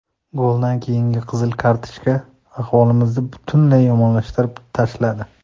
Goldan keyingi qizil kartochka ahvolimizni butunlay yomonlashtirib tashladi.